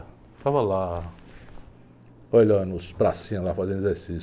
Eu ficava lá, olhando os pracinhas lá, fazendo exercício.